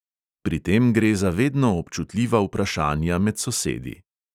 Pri tem gre za vedno občutljiva vprašanja med sosedi.